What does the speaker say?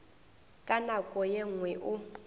ka nako ye nngwe o